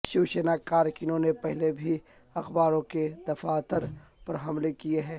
شو سینا کارکنوں نے پہلے بھی اخباروں کے دفاتر پر حملے کیے ہیں